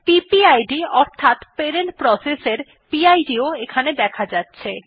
PPID অর্থাৎ parent process এর PIDও এখানে দেখা যাচ্ছে